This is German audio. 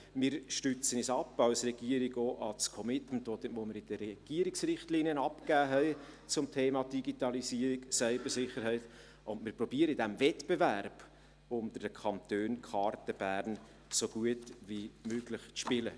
Wir stützen uns ab auf das Commitment, welches wir in den Regierungsrichtlinien zum Thema Digitalisierung und Cybersicherheit abgegeben haben, und wir versuchen im Wettbewerb unter den Kantonen die Berner Karten so gut wie möglich auszuspielen.